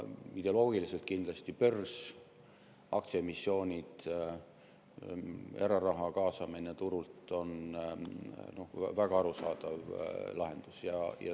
Ideoloogiliselt kindlasti börs, aktsiaemissioonid ja eraraha kaasamine turult on väga arusaadav lahendus.